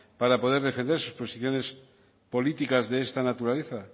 para poder defender sus posiciones políticas de esta naturaleza